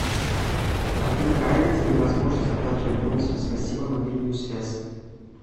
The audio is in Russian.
афина появится ли возможность оплачивать бонусами спасибо мобильную связь